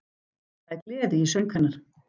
Það er gleði í söng hennar: